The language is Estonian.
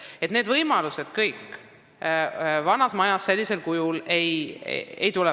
Niisuguseid võimalusi vanas majas sellisel kujul ei ole.